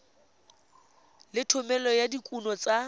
le thomeloteng ya dikuno tsa